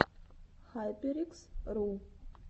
хайперикс ру